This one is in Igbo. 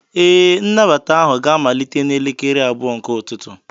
Ee, nnabata ahụ ga-amalite n'elekere abụọ nke ụtụtụ.